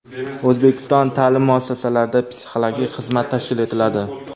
O‘zbekiston ta’lim muassasalarida psixologik xizmat tashkil etiladi.